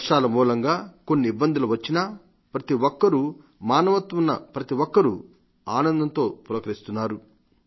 వర్షాల మూలంగా కొన్ని ఇబ్బందులు వచ్చినా ప్రతిఒక్కరూ మానవత్వం ఉన్న ప్రతిఒక్కరూ ఆనందంతో పులకరిస్తున్నారు